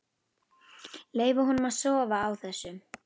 Leyfa honum að sofa á þessu.